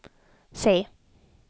C